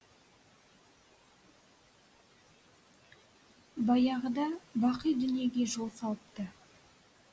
баяғыда бақи дүниеге жол салыпты